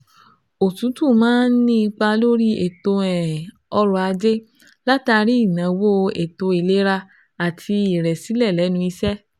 Òtútù máa ń ní ipa lórí ètò um ọrọ̀-ajé látàrí ìnáwó ètò ìlera àti ìrẹ̀sílẹ̀ lẹ́nu iṣẹ́